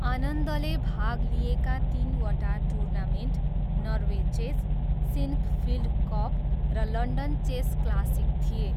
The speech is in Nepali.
आनन्दले भाग लिएका तिनवटा tournament Norway Chess, Sinquefield Cup र लन्डन चेस क्लासिक थिए।